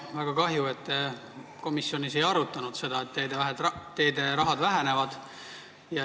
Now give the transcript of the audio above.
Väga kahju, et te komisjonis ei arutanud seda, et teederahad vähenevad.